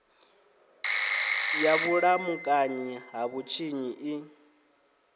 ya vhulamukanyi ha vhutshinyi i